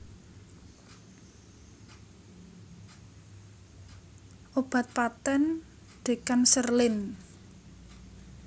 Obat patèn Decancerlin